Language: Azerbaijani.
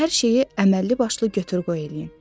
Hər şeyi əməlli başlı götür-qoy eləyin.